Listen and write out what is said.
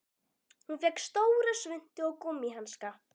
Hún fékk stóra svuntu og gúmmíhanska.